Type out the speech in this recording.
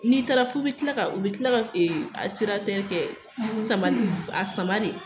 N'i tara f'u bɛ tila u bɛ tila ka a kɛ sama a saman de.